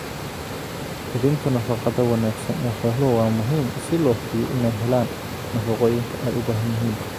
Hubinta nafaqada wanaagsan ee xooluhu waa muhiim si loo hubiyo inay helaan nafaqooyinka ay u baahan yihiin.